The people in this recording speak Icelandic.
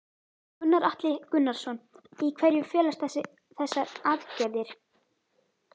Gunnar Atli Gunnarsson: Í hverju felast þessa aðgerðir?